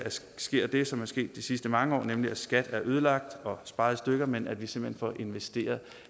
sker det som er sket de sidste mange år nemlig at skat er ødelagt og sparet i stykker men at vi simpelt hen får investeret